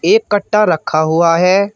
ए कट्टा रखा हुआ है।